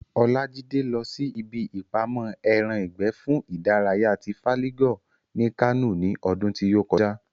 Olájídé lọ sí ibi ìpamọ́ ẹran ìgbẹ́ fún ìdárayá ti Fàlígòre ní Kánò ní ọdún tí ó kọjá